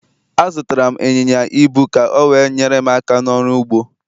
Azụtara m ịnyịnya ibu ka o we nyere m aka n'ọrụ ugbo